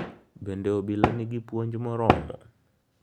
Bende obila nigi puonj moromo?